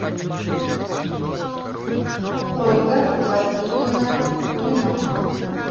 ольга васильевна фомина